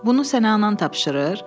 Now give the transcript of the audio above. Bunu sənə anan tapşırır?